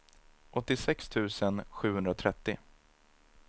åttiosex tusen sjuhundratrettio